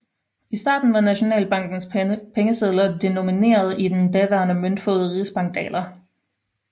I starten var Nationalbankens pengesedler denomineret i den daværende møntfod rigsbankdaler